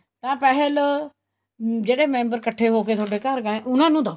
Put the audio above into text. ਤਾਂ ਪੈਸੇ ਲੋ ਜਿਹੜੇ member ਇੱਕਠੇ ਹੋਕੇ ਤੁਹਾਡੇ ਘਰ ਗਏ ਹੈ ਉਹਨਾ ਨੂੰ ਦੋ